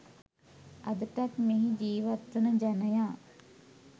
අදටත් මෙහි ජීවත් වන ජනයා